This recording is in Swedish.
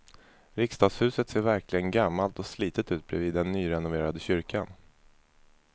Riksdagshuset ser verkligen gammalt och slitet ut bredvid den nyrenoverade kyrkan.